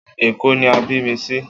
Èkó ni a bí mi sí